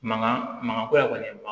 Mangan mankan ko ya kɔni